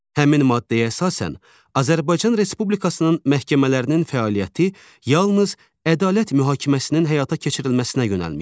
Həmin maddəyə əsasən Azərbaycan Respublikasının məhkəmələrinin fəaliyyəti yalnız ədalət mühakiməsinin həyata keçirilməsinə yönəlmişdir.